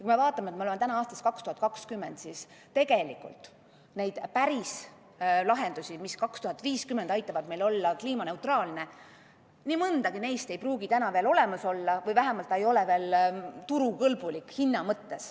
Kui me vaatame, et me oleme praegu aastas 2020, siis nii mõndagi neist päris lahendustest, mis aastal 2050 aitavad meil olla kliimaneutraalne, ei pruugi täna veel olemas olla või vähemalt ei ole need veel hinna mõttes turukõlblikud.